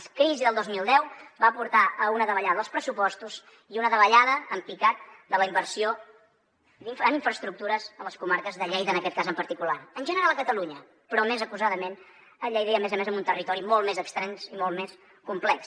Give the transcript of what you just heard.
la crisi del dos mil deu va portar a una davallada dels pressupostos i una davallada en picat de la inversió en infraestructures a les comarques de lleida en aquest cas en particular en general a catalunya però més acusadament a lleida i a més a més en un territori molt més extens i molt més complex